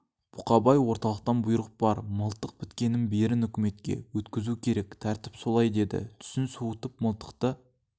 бұқабай орталықтан бұйрық бар мылтық біткеннің берін өкіметке өткізу керек тәртіп солай деді түсін суытып мылтықты